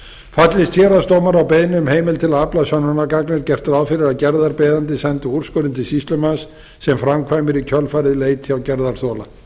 fallist héraðsdómur á beiðni um heimild til að afla sönnunargagna er gert ráð fyrir að gerðarbeiðandi sendi úrskurðinn til sýslumanns sem framkvæmir í kjölfarið leit hjá gerðarþola